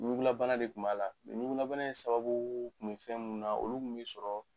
Ɲugulabana de kun b'a la ɲugulabana in sababu kun bɛ fɛn min na olu kun bɛ sɔrɔ